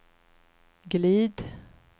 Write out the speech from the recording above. glid